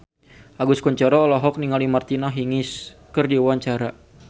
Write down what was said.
Agus Kuncoro olohok ningali Martina Hingis keur diwawancara